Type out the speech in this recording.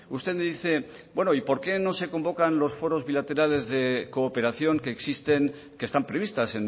usted me dice bueno y por qué no se convocan los foros bilaterales de cooperación que existen que están previstas